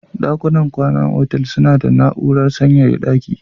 Ɗakunan kwan ana hotel suna da na'urar sanyaya ɗaki.